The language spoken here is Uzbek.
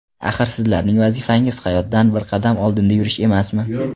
Axir, sizlarning vazifangiz hayotdan bir qadam oldinda yurish emasmi?